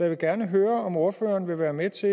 vil gerne høre om ordføreren vil være med til